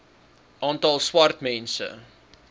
aantal swart mense